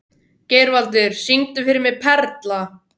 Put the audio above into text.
Geirvaldur, syngdu fyrir mig „Perla“.